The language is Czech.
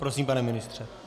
Prosím, pane ministře.